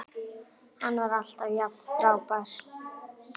Hann var alltaf jafn frábær.